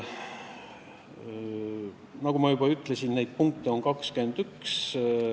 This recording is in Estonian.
Nagu ma juba ütlesin, neid punkte on 21.